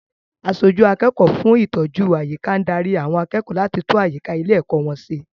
Aṣojú akẹ́kọ̀ọ́ fún ìtọ́jú àyíká ń dárí àwọn akẹ́kọ̀ọ́ láti tún àyíká ilé-ẹ̀kọ́ wọn ṣe.